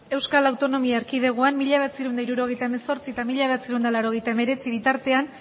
euskal autonomia erkidegoan mila bederatziehun eta hirurogeita hemezortzi eta mila bederatziehun eta laurogeita hemeretzi bitartean